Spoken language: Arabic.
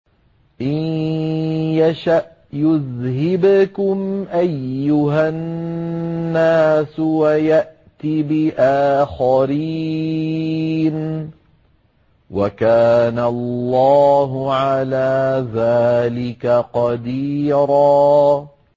إِن يَشَأْ يُذْهِبْكُمْ أَيُّهَا النَّاسُ وَيَأْتِ بِآخَرِينَ ۚ وَكَانَ اللَّهُ عَلَىٰ ذَٰلِكَ قَدِيرًا